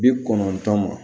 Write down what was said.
Bi kɔnɔntɔn ma